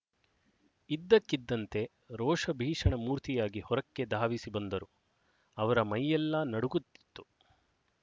ಇದ್ದಕ್ಕಿದ್ದಂತೆ ರೋಷಭೀಷಣ ಮೂರ್ತಿಯಾಗಿ ಹೊರಕ್ಕೆ ಧಾವಿಸಿ ಬಂದರು ಅವರ ಮೈಯೆಲ್ಲ ನಡುಗುತ್ತಿತ್ತು